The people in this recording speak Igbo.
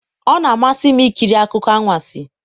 ọ na-amasị m ikiri akụkọ anwansi